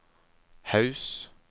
Haus